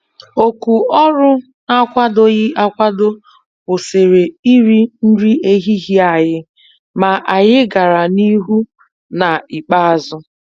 Òkù ọrụ n'akwadoghị akwado kwụsịrị iri nri ehihie anyị, ma anyị gàrà n' ihu n' ikpeazụ.